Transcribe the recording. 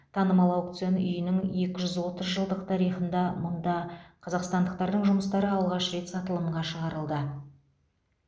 танымал аукцион үйінің екі жүз отыз жылдық тарихында мұнда қазақстандықтардың жұмыстары алғаш рет сатылымға шығарылды